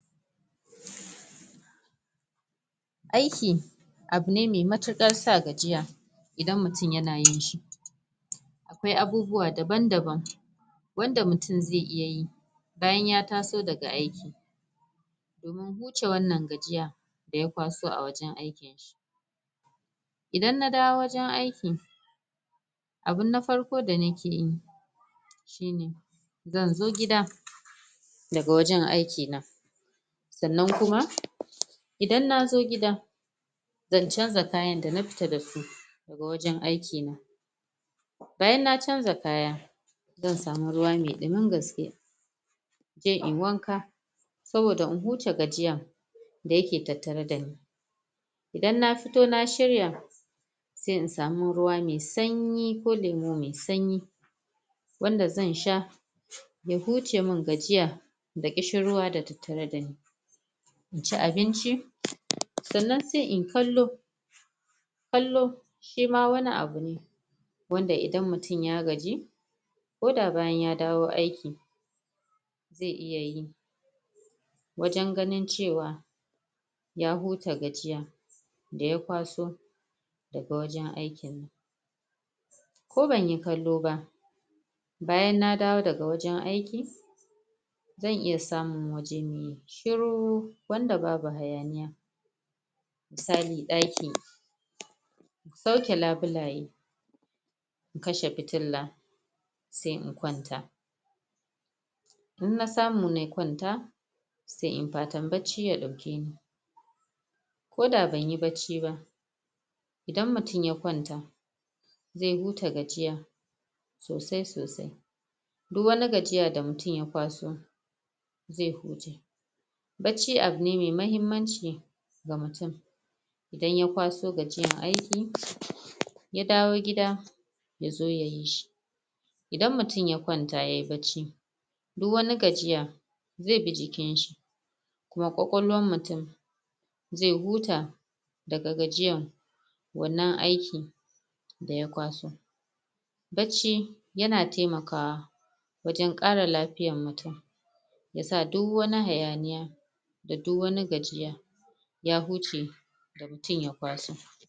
Aiki abu ne mai matukar sa gajiya idan mutum ya na yin shi akwai abubuwa daban-daban wanda mutum zai iya yi, bayan ya taso daga aiki wurin hucce wannan gajiya, da ya kwaso a wajen aiki shi. Idan na dawo a wajen aiki abun na farko da na ke yi shi ne, zan zo gida daga wajen aiki na tsannan kuma, idan na zo gida zan canza kayan da na fita da su, daga wajen aiki na bayan na canza kaya, zan samu ruwa mai ɗumin gaske sai inyi wanka saboda in huta gajiya, da ya ke tattare da ni idan na fito, na shirya sai in samu ruwa mai sanyiko lemu mai sanyi wanda zan sha ya hucce mun gajiyya, da ƙishin ruwa da tattare da ni ln ci abinci, tsannan sai inyi kallo kallo, shi ma wani abu ne wanda idan mutum ya gaji, ko da bayan ya dawo aiki zai iya yi wajen ganin cewa ya huta gajiya, da ya kwaso da ga wajen aiki ko ban yi kallo ba bayan na dawo da ga wajen aiki zan iya samun shuru wanda babu hayaniya misali daki na sauke labulaye kashe fitilla, sai in kwanta in na samu, nayi kwanta, sai inyi patan bacci ya dauke ni ko da banyi bacci ba, idan mutum ya kwanta zai huta gajiya, sosai soai duk wani gajiya da mutum ya kwaso, zai huta Bacci abu ne mai mahmmancika mutum idan ya kwaso gajiyan aiki, ya dawo gida, ya zo ya yi shi idan mutum ya kwanta yayi bacci, duk wani gajiya zai bi jikin shi, ma kwakwalon mutum zai huta, da ga gajiyyan wannan aikin da ya kwaso bacci, ya na taimakawa, wajen kara lafiyar mutum. shi yasa duk wani hayaniyya da duk wani gajiyya ya hucce da mutum ya kwaso.